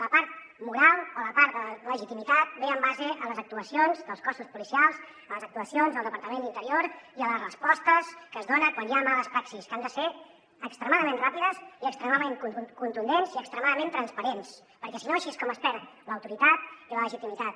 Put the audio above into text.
la part moral o la part de legitimitat ve en base a les actuacions dels cossos policials a les actuacions del departament d’interior i a les respostes que es donen quan hi ha males praxis que han de ser extremadament ràpides i extremament contundents i extremadament transparents perquè si no així és com es perd l’autoritat i la legitimitat